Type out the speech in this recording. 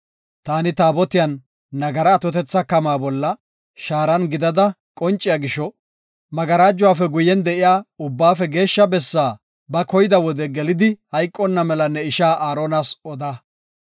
Taani Taabotiya nagara atotetha kamaa bolla shaaran gidada qonciya gisho magarajuwafe guyen de7iya Ubbaafe Geeshsha Bessaa ba koyida wode gelidi hayqonna mela ne ishaa Aaronas oda.